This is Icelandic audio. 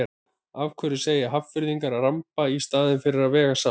Af hverju segja Hafnfirðingar að ramba í staðinn fyrir að vega salt?